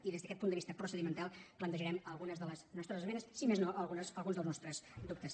i des d’aquest punt de vista procedimental plantejarem algunes de les nostres esmenes si més no alguns dels nostres dubtes